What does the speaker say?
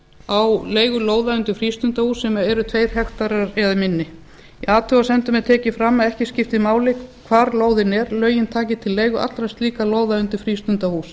á leigu lóða undir frístundahús sem eru tveir hektarar eða minni í athugasemdum er tekið fram að ekki skipti máli hvar lóðin er lögin taki til leigu allra slíkra lóða undir frístundahús